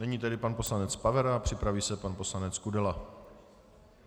Nyní tedy pan poslanec Pavera, připraví se pan poslanec Kudela.